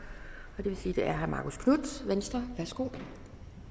det vil sige at det er herre marcus knuth venstre nu værsgo